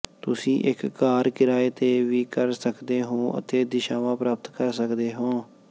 ਤੁਸੀਂ ਇੱਕ ਕਾਰ ਕਿਰਾਏ ਤੇ ਵੀ ਕਰ ਸਕਦੇ ਹੋ ਅਤੇ ਦਿਸ਼ਾਵਾਂ ਪ੍ਰਾਪਤ ਕਰ ਸਕਦੇ ਹੋ